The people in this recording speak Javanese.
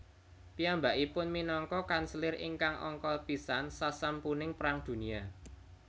Piyambakipun minangka kanselir ingkang angka pisan sasampuning Perang Dunia